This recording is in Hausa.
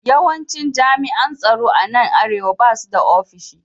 Yawancin jami’an tsaro a nan Arewa ba su da ofishi